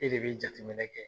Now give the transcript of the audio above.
E de bɛ jateminɛ kɛ